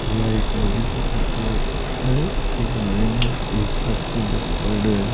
यह एक नदी की फोटो है एकै महिने एक टापू दरसायोडो है।